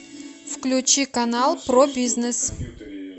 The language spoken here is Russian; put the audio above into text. включи канал про бизнес